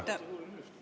Aitäh!